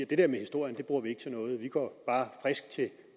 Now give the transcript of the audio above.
det der med historien bruger de ikke til noget de går bare frisk til